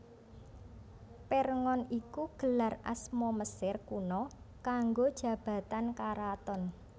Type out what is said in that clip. Pirngon iku gelar asma Mesir Kuna kanggo jabatan karaton